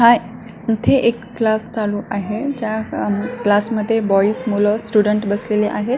काय इथे एक क्लास चालू आहे ज्या अ क्लास मध्ये बॉइज मुल स्टुडेंट बसलेले आहेत.